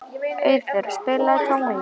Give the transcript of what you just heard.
Auður, spilaðu tónlist.